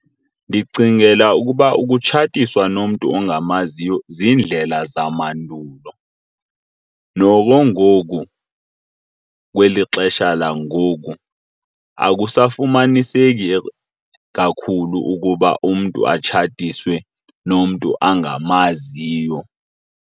Ndicingela ukuba ukutshatiswa nomntu ongamaziyo ziindlela zamandulo. Noko ngoku kweli xesha langoku akusafumaniseki kakhulu ukuba umntu atshatiswe nomntu angamaziyo.